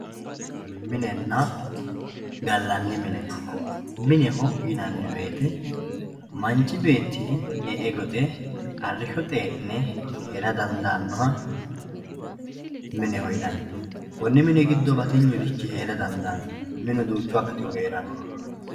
Minenna ga'lanni minne, mineho yinani woyite manchi beeti e'e goxxe arriisho xee'ne heera dandanoha mineho yininni koni mini gifo batinyurichi heera dandano minu duuchu akkatihu heeranno.